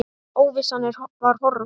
Óvissan var horfin.